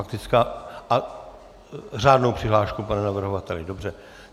A řádnou přihlášku, pane navrhovateli, dobře.